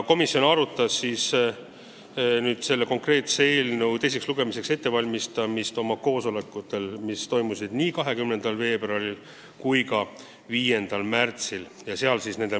Komisjon arutas eelnõu teiseks lugemiseks ettevalmistamist oma koosolekutel, mis toimusid 20. veebruaril ja 5. märtsil.